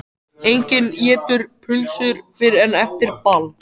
Enginn étur pylsur fyrr en eftir ball.